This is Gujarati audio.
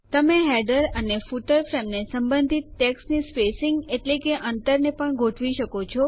તમે હેડર અને ફૂટર ફ્રેમ ને સંબંધિત ટેક્સ્ટની સ્પેસીંગ એટલે કે અંતર ને પણ ગોઠવી શકો છો